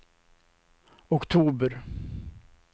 oktober